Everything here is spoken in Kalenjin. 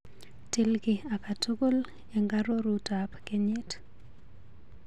Til kiiy akatukul eng arorutap kenyit.